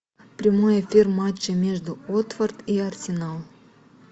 прямой эфир матча между уотфорд и арсенал